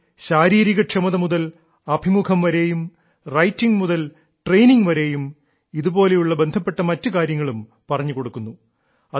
ഇതിൽ ശാരീരികക്ഷമത മുതൽ അഭിമുഖം വരെയും റൈറ്റിംഗ് മുതൽ ട്രെയിനിംഗ് വരെയും ഇതുപോലെയുള്ള ബന്ധപ്പെട്ട മറ്റു കാര്യങ്ങളും പറഞ്ഞുകൊടുക്കുന്നു